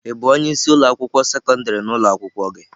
Ị bụ onye isi ụlọ akwụkwọ sekọndrị na ụlọ akwụkwọ gị?